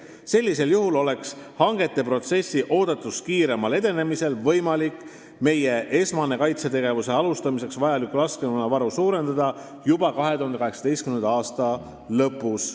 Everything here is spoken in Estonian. Sellisel juhul oleks hangete protsessi oodatust kiiremal edenemisel võimalik meie esmast, kaitsetegevuse alustamiseks vajaliku laskemoona varu suurendada juba 2018. aasta lõpus.